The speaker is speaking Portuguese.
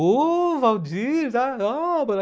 Oh, Valdir!